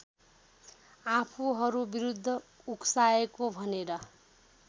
आफूहरूविरुद्ध उक्साएको भनेर